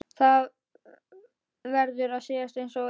Það verður að segjast einsog er.